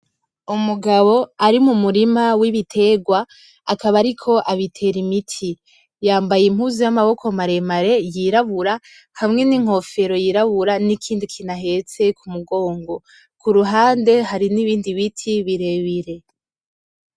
Umugabo ari mu murima w'ibiterwa akaba ariko abitera imiti, yambaye impuzu y'amaboko maremare yirabura hamwe n'inkofero yirabura nikindi kintu ahetse ku mugongo, kuruhande hari nibindi ibiti birebire.